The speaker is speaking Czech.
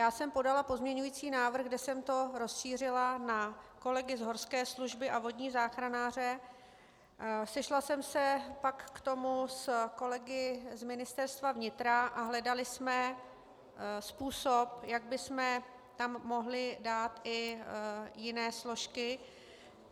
Já jsem podala pozměňovací návrh, kde jsem to rozšířila na kolegy z horské služby a vodní záchranáře, sešla jsem se pak k tomu s kolegy z Ministerstva vnitra a hledali jsme způsob, jak bychom tam mohli dát i jiné složky.